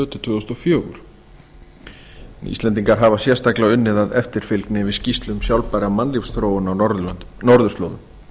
tvö þúsund og fjórir íslendingar hafa sérstaklega unnið að eftirfylgni við skýrslur sjálfbærrar mannlífsþróun á norðurslóðum